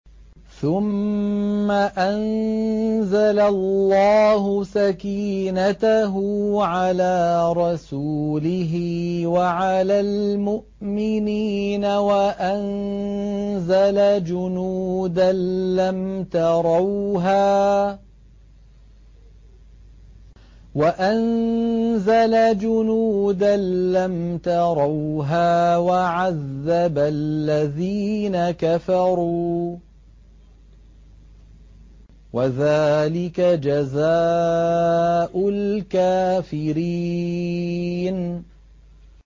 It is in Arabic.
ثُمَّ أَنزَلَ اللَّهُ سَكِينَتَهُ عَلَىٰ رَسُولِهِ وَعَلَى الْمُؤْمِنِينَ وَأَنزَلَ جُنُودًا لَّمْ تَرَوْهَا وَعَذَّبَ الَّذِينَ كَفَرُوا ۚ وَذَٰلِكَ جَزَاءُ الْكَافِرِينَ